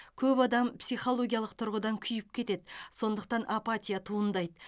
көп адам психологиялық тұрғыдан күйіп кетеді сондықтан апатия туындайды